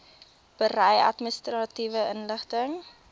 berei administratiewe inligting